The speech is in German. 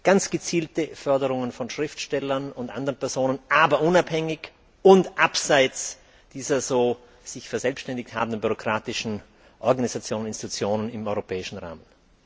an ganz gezielte Förderungen von Schriftstellern und anderen Personen, aber unabhängig und abseits dieser so sich verselbständigt habenden bürokratischen Organisationen und Institutionen im europäischen Rahmen.